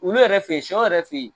Olu yɛrɛ fe yen, sɛ yɛrɛ fe yen